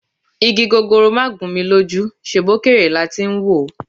Igi gogoro máà gún mi lójú, ṣebí òkèèrè la ti ń wòó?